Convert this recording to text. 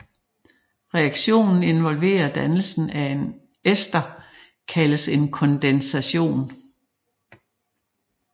Reaktionen involverer dannelsen af en ester kaldes en kondensation